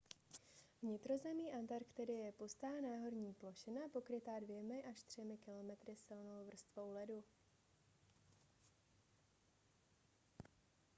vnitrozemí antarktidy je pustá náhorní plošina pokrytá 2-3 km silnou vrstvou ledu